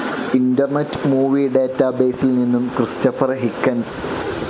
internet movie ഡാറ്റാബേസിൽ നിന്നും Christopher Higgins